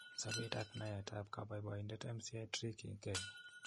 Sabeet ak naet ap kaboboindet MCA tricky Kenya